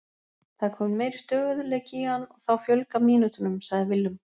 Það er kominn meiri stöðugleiki í hann og þá fjölgar mínútunum, sagði Willum.